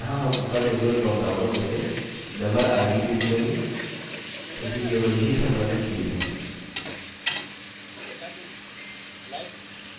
यहाँ हम ऊपर के दो ड्रॉपडाउनों में से memberid field चुनेंगे क्योंकि केवल यही सम्बन्धित field है